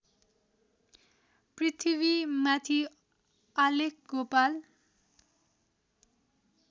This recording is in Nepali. पृथिवीमाथि आलेख गोपाल